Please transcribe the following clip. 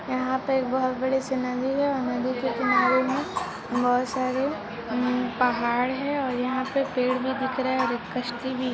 यहा पे एक बहोत बड़ी सी नदी है और नदी के किनारे बहोत सारे पहाड़ है और यहा पे पेड़ भी दिख रे है और कसती भी --